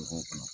Mɔgɔw kun